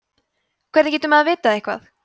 hvernig getur maður vitað eitthvað